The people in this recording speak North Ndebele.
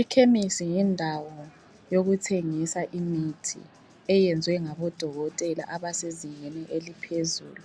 Ikhemisi yindawo yokuthengisa imithi eyenziwe ngabodokotela abasezingeni eliphezulu